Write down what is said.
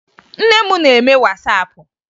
Nne m na-eme Wasapụ